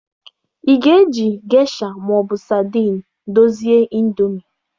Ị ga-eji gesha ma ọ bụ sadin dozie indomie?